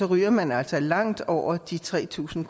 ryger man altså langt over de tre tusind